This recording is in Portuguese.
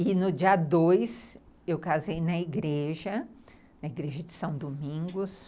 E no dia dois, eu casei na igreja, na igreja de São Domingos.